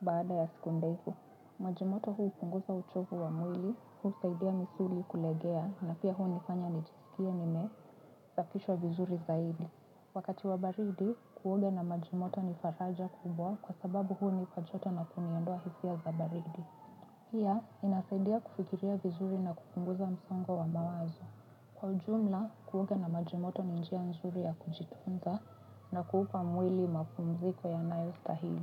Baada ya siku ndevu, majimoto huupunguza uchovu wa mwili, huu saidia misuli kulegea, na pia huu nifanya nijisikie nime, zafishwa vizuri zaidi. Wakati wa baridi, kuoga na majimoto nifaraja kubwa kwa sababu hunipa joto na kuniondoa hisia za baridi. Pia inasaidia kufikiria vizuri na kupunguza msongo wa mawazo. Kwa ujumla, kuoga na majimoto ni njia nzuri ya kunjitunza na kuupa mwili mapumziko yanayo stahili.